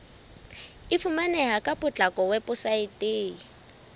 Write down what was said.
e fumaneha ka potlako weposaeteng